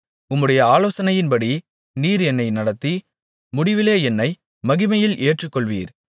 உம்முடைய ஆலோசனையின்படி நீர் என்னை நடத்தி முடிவிலே என்னை மகிமையில் ஏற்றுக்கொள்வீர்